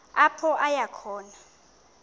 apho aya khona